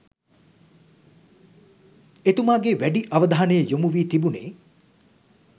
එතුමාගේ වැඩි අවධානය යොමුවී තිබුනේ